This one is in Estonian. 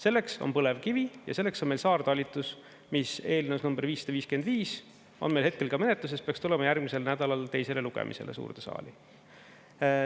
Selleks on põlevkivi ja selleks on meil saartalitlus, mis eelnõus nr 555 on meil hetkel menetluses ja peaks tulema järgmisel nädalal teisele lugemisele suurde saali.